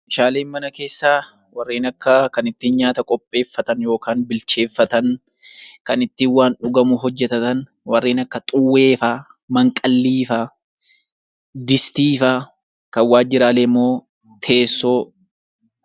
Meeshaaleen mana keessaa kanneen akka ittiin nyaata qopheeffatan yookaan bilcheeffatan kan ittiin waan dhugamu hojjatatan warreen akka xuwwee fa'aa , manqallii fa'aa, distii fa'aa. Kan waajjiraalee immoo teessoo fa'aa